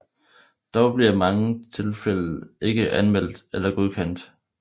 Dog bliver mange tilfælde ikke anmeldt eller godkendt